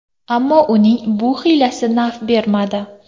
Ammo uning bu hiylasi naf bermadi.